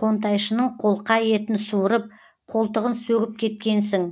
қонтайшының қолқа етін суырып қолтығын сөгіп кеткенсің